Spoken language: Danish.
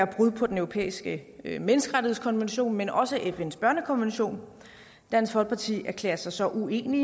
brud på den europæiske menneskerettighedskonvention men også på fns børnekonvention dansk folkeparti erklærer sig så uenig